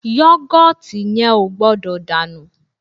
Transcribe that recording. Yọ́gọ̀tì yẹn ò gbọ́dọ̀ dànù